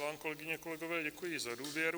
Vám, kolegyně, kolegové, děkuji za důvěru.